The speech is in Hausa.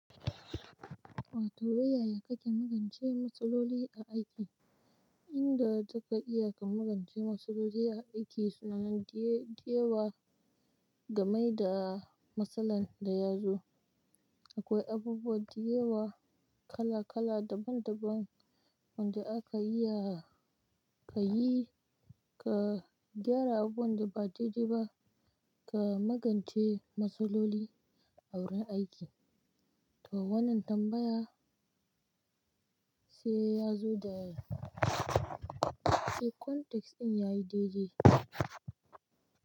Wato, yaya kake magance matsaloli a aiki? Inda za ka iya ka magance matsaloli a aiki suna nan diyewa game da matsalar da ya zo. Akwai abubuwa diyewa kala kala daban daban wanda aka iya ka yi, ka gyara abubuwan da ba dai-dai ba, ka magance matsaloli a wurin aiki. To wannan tambaya sai ya zo da, sai context ɗin yayi daidai.